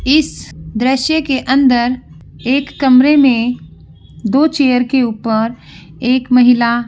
इस दृश्य के अंदर एक कमरे में दो चेयर के ऊपर एक महिला --